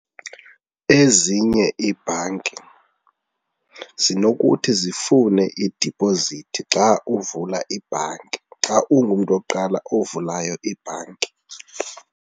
Ezinye iibhanki zinokuthi zifune idipozithi xa uvula ibhanki, xa ungumntu wokuqala ovulayo ibhanki.